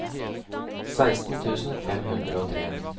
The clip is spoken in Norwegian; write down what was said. seksten tusen fem hundre og tre